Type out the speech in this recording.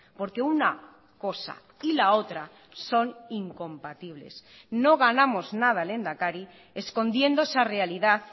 porque una cosa y la otra son incompatibles no ganamos nada lehendakari escondiendo esa realidad